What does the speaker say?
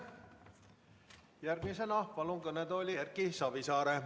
Järgmisena palun kõnetooli Erki Savisaare.